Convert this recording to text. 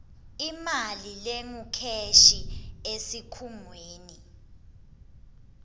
imali lengukheshi esikhungweni